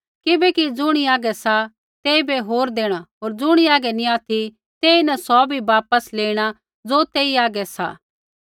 किबैकि ज़ुणी हागै सा तेइबै होर देणा होर ज़ुणी हागै नी ऑथि तेईन सौ भी वापस लेइणा ज़ो तेई हागै सा